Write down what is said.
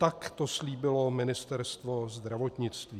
Tak to slíbilo Ministerstvo zdravotnictví.